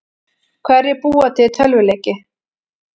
Hverjir búa til tölvuleiki?